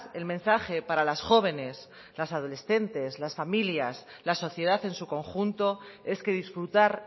el mensaje para las jóvenes las adolescentes las familias la sociedad en su conjunto es que disfrutar